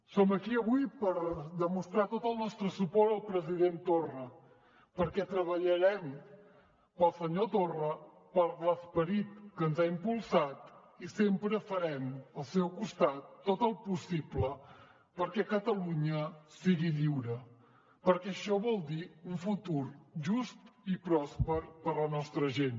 som aquí avui per demostrar tot el nostre suport al president torra perquè treballarem pel senyor torra per l’esperit que ens ha impulsat i sempre farem al seu costat tot el possible perquè catalunya sigui lliure perquè això vol dir un futur just i pròsper per a la nostra gent